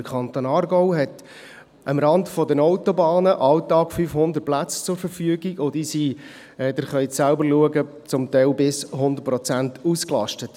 Der Kanton Aargau stellt am Rande der Autobahnen täglich 500 Plätze zur Verfügung, und diese sind – Sie können es selbst anschauen – zum Teil zu 100 Prozent ausgelastet.